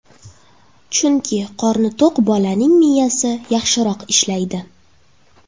Chunki qorni to‘q bolaning miyasi yaxshiroq ishlaydi.